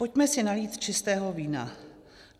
Pojďme si nalít čistého vína.